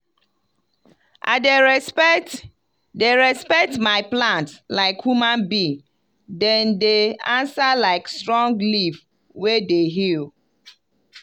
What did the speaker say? i dey respect dey respect my plants like human being dem dey answer like strong leaf wey dey heal.